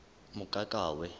mokakawe